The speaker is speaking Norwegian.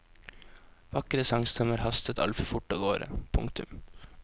Vakre sangstemmer hastet altfor fort av gårde. punktum